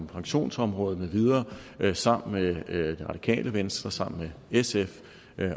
pensionsområdet med videre sammen med det radikale venstre sammen med sf